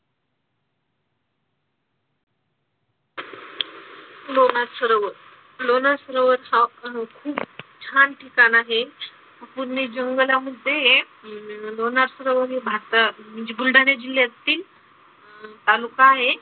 लोणार सरोवर. लोणार सरोवर हा भारतातील छान ठिकाण आहे. पूर्ण जंगलामध्ये हे लोणार सरोवर हे भारतात म्हणजे बुलढाणा जिल्ह्यातील अह तालुका आहे.